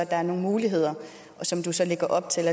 er nogle muligheder som du så lægger op til